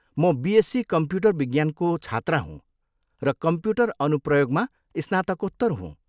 म BSc computer विज्ञानको छात्रा हुँ र कम्प्युटर अनुप्रयोगमा स्नातकोत्तर हुँ।